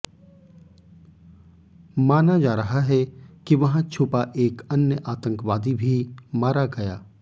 माना जा रहा है कि वहां छुपा एक अन्य आतंकवादी भी मारा गया